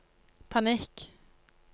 panikk